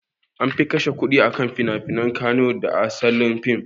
Anfi kashe kudi akan finafinen katoons da asalin fim